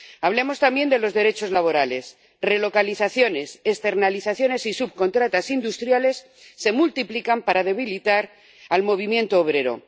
Hablemos también de los derechos laborales relocalizaciones, externalizaciones y subcontratas industriales se multiplican para debilitar al movimiento obrero.